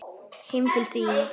Heim til þín?